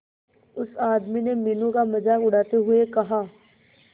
उस आदमी ने मीनू का मजाक उड़ाते हुए कहा